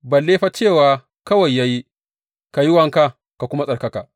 Balle fa cewa kawai ya yi, Ka yi wanka ka kuma tsarkaka’!